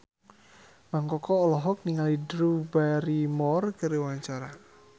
Mang Koko olohok ningali Drew Barrymore keur diwawancara